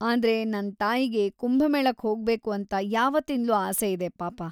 ಆದ್ರೆ, ನನ್‌ ತಾಯಿಗೆ ಕುಂಭಮೇಳಕ್‌ ಹೋಗ್ಬೇಕು ಅಂತ ಯಾವತ್ತಿಂದ್ಲೂ ಆಸೆ ಇದೆ ಪಾಪ.